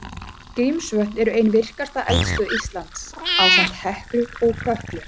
Grímsvötn eru ein virkasta eldstöð Íslands, ásamt Heklu og Kötlu.